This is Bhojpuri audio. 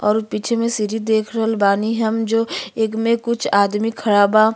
और उ पीछे मे सिरी देख रल बानी हम जो एग में कुछ आदमी खड़ा बा।